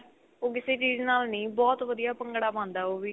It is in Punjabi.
ਉਹ ਕਿਸੇ ਚਿਜ ਨਾਲ ਨੀ ਬਹੁਤ ਵਧੀਆ ਭੰਗੜਾ ਪਾਉਂਦਾ ਉਹ ਵੀ